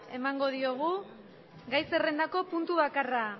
emango diogu gai zerrendako puntu bakarra